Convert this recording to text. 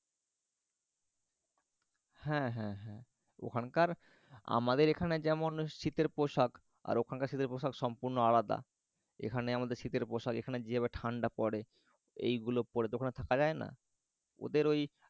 হ্যাঁ হ্যাঁ হ্যাঁ। ওখানকার আমাদের এখানে যেমন শীতের পোশাক ওখানকার শীতের পোশাক সম্পূর্ণ আলাদা। এখানে আমাদের শীতের পোশাক এখানে যেভাবে ঠাণ্ডা পরে এইগুলো পরে তো ওখানে থাকা যায়না ওদের ঐ